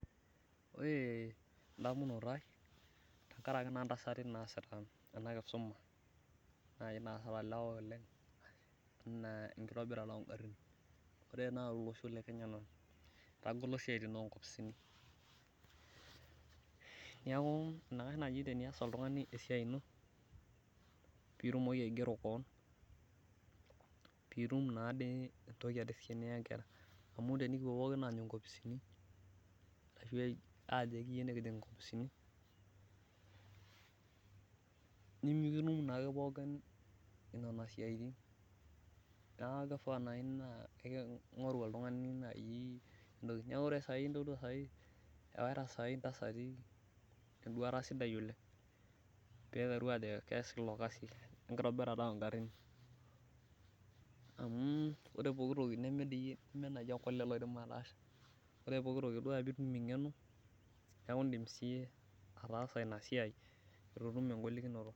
Ore endamunoto ai tenkarake naa intasati naasita ena kisuma naai naasita ilewa oleng enaa enkitobirata ongarrin ore naa olosho naa etagolo isiaitin onkopisini niaku enaikash naaji tenias oltung'ani esiai ino piitumoki aigero koon piitum naade entoki ade siiyie niya inkera amu tenikipuo pookin aanyu inkopisini ashu ae ajo ekiyieu nikijing inkopisini nimikitum naake pookin inana siaitin naa kifaa naai naa eki ing'oru oltung'ani naai entoki niaku ore saai iintodua saai ewaita saai intasati enduata sidai oleng piiteru aajo kees ilo kasi lenkitobirata ongarrin amu ore pokitoki neme diyie neme naaji ake olee loidim ataasa ore pokitoki odua piitum eng'eno niaku indim siiyie ataasa ina siai etu itum engolikinoto.